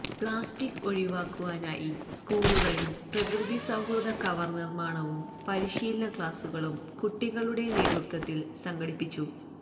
plastic ഒഴിവാക്കുവാനായി സ്കൂളില് പ്രകൃതിസൌഹൃദ കവര് നിര്മാണവും പരിശീലന ക്ലാസുകളും കുട്ടികളുടെ നേതൃത്വത്തില് സംഘടിപ്പിച്ചു